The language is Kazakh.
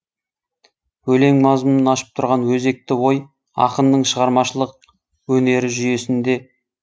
өлең мазмұнын ашып тұрған өзекті ой ақынның шығармашылық өнері жүйесінде